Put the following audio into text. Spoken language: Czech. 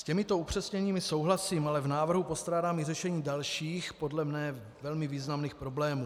S těmito upřesněními souhlasím, ale v návrhu postrádám i řešení dalších, podle mne velmi významných problémů.